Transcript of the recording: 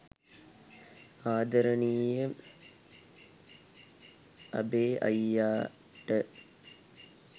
ආදරණීය අබේ අයියාට